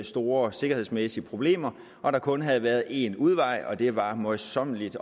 store sikkerhedsmæssige problemer og at der kun havde været én udvej og at det var møjsommeligt